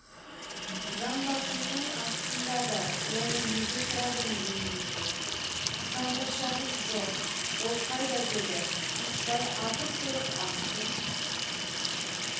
жамбасымның астында да оны неге сұрадың ендеше сандықшаңыз жоқ ол қайда деді итбай атып тұрып астын